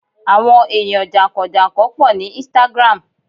àwọn eyan jankan-jankan po ni Instagram